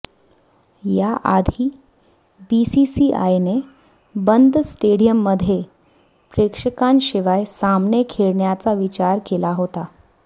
याआधी बीसीसीआयने बंद स्टेडियम मध्ये प्रेक्षकांशिवाय सामने खेळण्याचा विचार केला होता